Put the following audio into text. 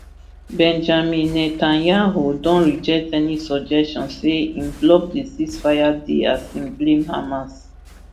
benjamin netanyahu don reject any suggestion say im block di ceasefire deal as im blame hamas